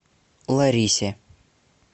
ларисе